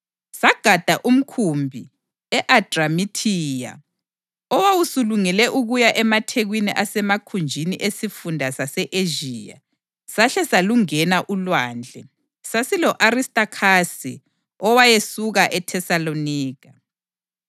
Sagada umkhumbi e-Adramithiya owawusulungele ukuya emathekwini asemakhunjini esifunda sase-Ezhiya, sahle salungena ulwandle. Sasilo-Aristakhasi, owayesuka eThesalonika.